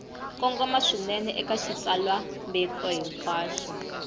kongoma swinene eka xitsalwambiko hinkwaxo